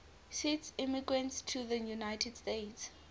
swiss immigrants to the united states